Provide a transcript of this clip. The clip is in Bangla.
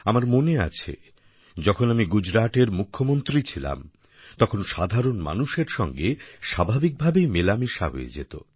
আমার মনে আছে যখন আমি গুজরাটের মুখ্যমন্ত্রী ছিলাম তখন সাধারণ মানুষের সঙ্গে স্বাভাবিকভাবেই মেলামেশা হয়ে যেত